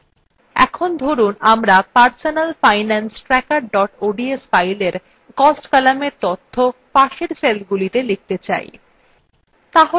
in ধরুন আমরা personalfinancetracker ods filein cost কলামের তথ্য পাশের সেলগুলিতে লিখতে চাই